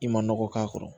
I ma nɔgɔ k'a kɔrɔ